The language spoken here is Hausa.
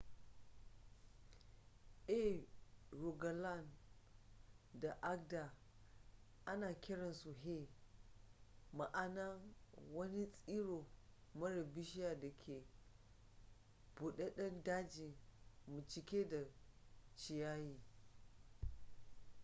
a rogaland da agder ana kiransu hei ma'ana wani tsiro mara bishiya da ke budadden daji mai cike da ciyayi